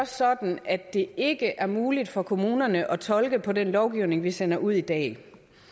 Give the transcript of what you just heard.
sådan at det ikke er muligt for kommunerne at tolke den lovgivning vi sender ud i dag